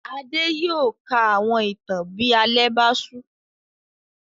Adé yóò ka àwọn ìtàn bí alẹ́ bá ṣú.